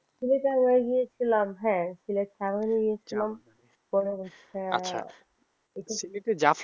সিলেটে মনে হয় গিয়েছিলাম হ্যাঁ গিয়েছিলাম একবার গিয়েছিলাম আচ্ছা পৃথিবীতে